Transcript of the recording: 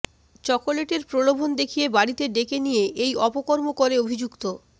চকোলেটের প্রলোভন দেখিয়ে বাড়িতে ডেকে নিয়ে এই অপকর্ম করে অভিযুক্ত